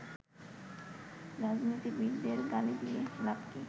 রাজনীতিবিদদের গালি দিয়ে লাভ কী